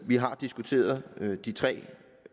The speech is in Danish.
vi har diskuteret de tre